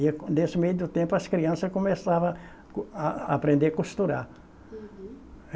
Nesse meio do tempo as crianças começavam co a aprender costurar. Uhum.